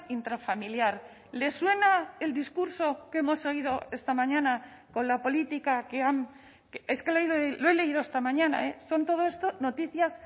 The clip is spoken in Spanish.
intrafamiliar les suena el discurso que hemos oído esta mañana con la política que han es que lo he leído esta mañana son todo esto noticias